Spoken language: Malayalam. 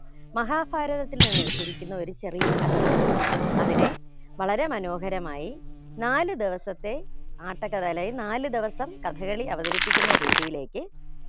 മഹാഭാരതത്തിൽ നിന്നെടുത്തിരിക്കുന്ന ഒരു ചെറിയ കഥയാണ് അതിനെ വളരെ മനോഹരമായി നാലു ദിവസത്തെ ആട്ടക്കഥ അല്ലെങ്കിൽ നാലു ദിവസം കഥകളി അവതരിപ്പിക്കുന്ന രീതിയിലേക്ക്